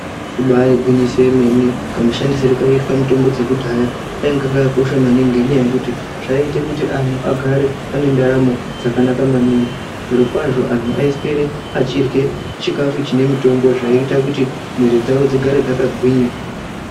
Ibari gwinyiso yemene kamushandisirwo kaiitwa mitombo dzakudhaya kaingakaka kosha maningi ngendaa yekuti zvaiite kuti antu agare ane ndaramo dzakanaka maningi. Zvirokwavo antu aiswere achirye chikafu chine mitombo zvaiite kuti mwiri dzavo dzigare dzakagwinya.